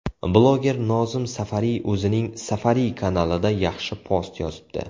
Bloger Nozim Safariy o‘zining Safariy kanalida yaxshi post yozibdi .